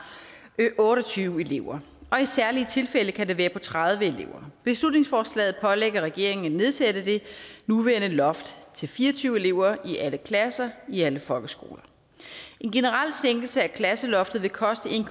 otte og tyve elever og i særlige tilfælde kan det være på tredive elever beslutningsforslaget pålægger regeringen at nedsætte det nuværende loft til fire og tyve elever i alle klasser i alle folkeskoler en generel sænkelse af klasseloftet vil koste